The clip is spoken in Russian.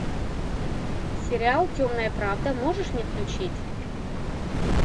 сериал темная правда можешь мне включить